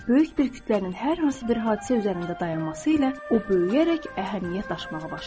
Böyük bir kütlənin hər hansı bir hadisə üzərində dayanması ilə o böyüyərək əhəmiyyət daşımağa başlayır.